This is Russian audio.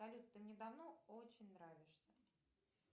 салют ты мне давно очень нравишься